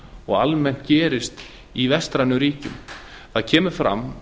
og almennt gerist í vestrænum ríkjum það kemur fram